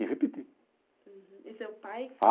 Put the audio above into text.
E repeti. Uhum, e seu pai